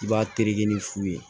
I b'a tereke ni fu ye